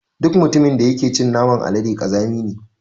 Duk mutumin da yake cin naman alade ƙazami ne.